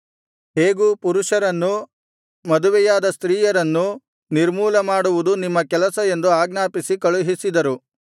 ಹೇಗೂ ಪುರುಷರನ್ನು ಮದುವೆಯಾದ ಸ್ತ್ರೀಯರನ್ನೂ ನಿರ್ಮೂಲಮಾಡುವುದು ನಿಮ್ಮ ಕೆಲಸ ಎಂದು ಆಜ್ಞಾಪಿಸಿ ಕಳುಹಿಸಿದರು